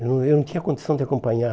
Eu eu não tinha condição de acompanhar.